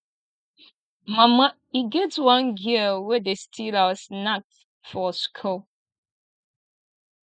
mama e get one girl wey dey steal our snacks for school